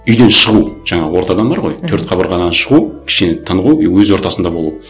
үйден шығу жаңағы ортадан бар ғой мхм төрт қабырғадан шығу кішкене тынығу и өз ортасында болу